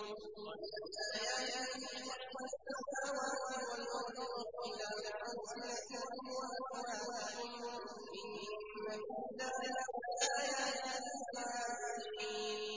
وَمِنْ آيَاتِهِ خَلْقُ السَّمَاوَاتِ وَالْأَرْضِ وَاخْتِلَافُ أَلْسِنَتِكُمْ وَأَلْوَانِكُمْ ۚ إِنَّ فِي ذَٰلِكَ لَآيَاتٍ لِّلْعَالِمِينَ